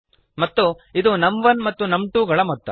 ಮತ್ತು ಇದು ನಮ್1 ಮತ್ತು ನಮ್2 ಗಳ ಮೊತ್ತ